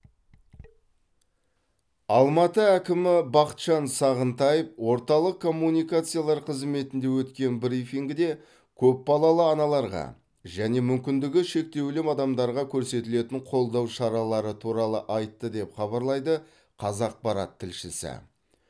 алматы әкімі бақытжан сағынтаев орталық коммуникациялар қызметінде өткен брифингіде көпбалалы аналарға және мүмкіндігі шектеулі адамдарға көрсетілетін қолдау шаралары туралы айтты деп хабарлайды қазақпарат тілшісі